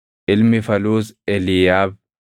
Ilmi Faluus Eliiyaab;